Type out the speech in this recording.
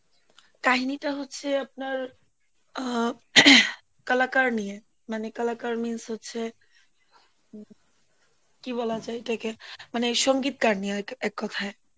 কাহিনীটা হচ্ছে আপনার আহ কলাকার নিয়ে মানে কলাকার means হচ্ছে, কি বলা যায় এটাকে মানে সংগীতকার নিয়ে এককথায়